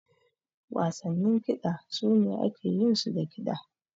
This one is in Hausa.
Wasannin kiɗa su ne ake yin su da kiɗa.